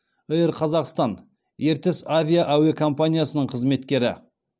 эйр қазақстан ертіс авиа әуе компаниясының қызметкері